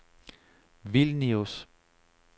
Vilnius